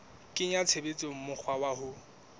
kenya tshebetsong mokgwa wa ho